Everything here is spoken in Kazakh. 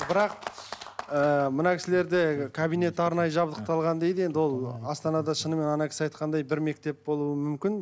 бірақ ыыы мына кісілерде кабинет арнайы жабдықталған дейді енді ол астанада шынымен ана кісі айтқандай бір мектеп болуы мүмкін